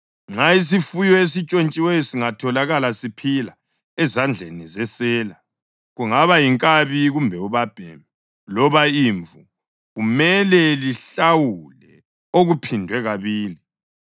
Nxa isifuyo esintshontshiweyo singatholakala siphila ezandleni zesela, kungaba yinkabi kumbe ubabhemi loba imvu, kumele lihlawule okuphindwe kabili.